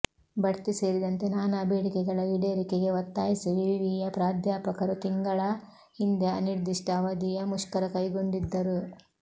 ಬಡ್ತಿ ಸೇರಿದಂತೆ ನಾನಾ ಬೇಡಿಕೆಗಳ ಈಡೇರಿಕೆಗೆ ಒತ್ತಾಯಿಸಿ ವಿವಿಯ ಪ್ರಾಧ್ಯಾಪಕರು ತಿಂಗಳ ಹಿಂದೆ ಅನಿರ್ದಿಷ್ಟ ಅವಧಿಯ ಮುಷ್ಕರ ಕೈಗೊಂಡಿದ್ದರು